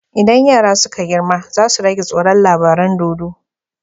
Idan yara suka girma zasu rage tsoron labaran dodo